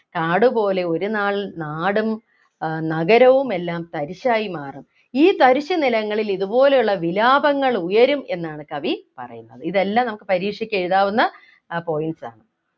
കാടുപോലെ ഒരുനാൾ നാടും ആഹ് നഗരവുമെല്ലാം തരിശായി മാറും ഈ തരിശുനിലങ്ങളിൽ ഇതുപോലെയുള്ള വിലാപങ്ങൾ ഉയരും എന്നാണ് കവി പറയുന്നത് ഇതെല്ലാം നമുക്ക് പരീക്ഷയ്ക്ക് എഴുതാവുന്ന ആഹ് points ആണ്